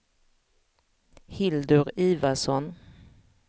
Hildur Ivarsson